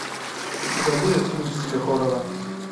у тебя будет фильм в стиле хоррора